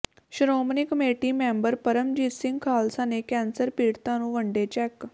Shiromani committee member Paramjit Singh Khalsa ਨੇ cancer ਪੀੜਤਾਂ ਨੂੰ ਵੰਡੇ ਚੈਕ